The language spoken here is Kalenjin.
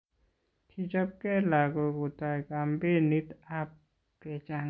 kichopke lokok kotai kampenit ab kechangan rabisiek